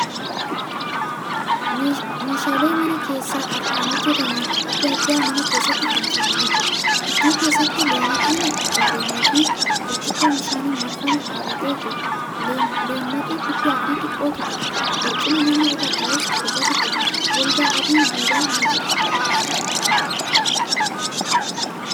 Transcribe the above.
Meeshaalee mana keessaa harkaan hojjataman adda addaa mana keessatti fannifamanii jiru. Gidduu keessatti leemmaxiin qadaadame fi burcuqqoo bishaaniin marfamee dhaabatee jira. Leemmaxii guddaafi xiqqootu jira. Barcuma namni irra taa'us torbatu jira. Golgaa adiin duuban ni jira.